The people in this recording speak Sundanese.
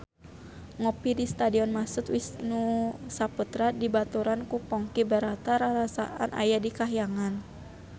Ngopi di Stadion Mashud Wisnusaputra dibaturan ku Ponky Brata rarasaan aya di kahyangan